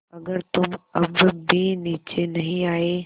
अगर तुम अब भी नीचे नहीं आये